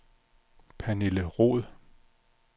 Pernille Roed